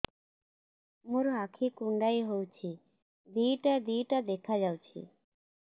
ମୋର ଆଖି କୁଣ୍ଡାଇ ହଉଛି ଦିଇଟା ଦିଇଟା ଦେଖା ଯାଉଛି